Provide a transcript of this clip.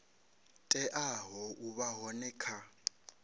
teaho u vha hone kha